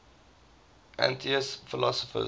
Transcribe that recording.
atheist philosophers